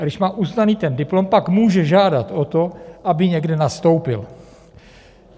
A když má uznaný ten diplom, pak může žádat o to, aby někde nastoupil.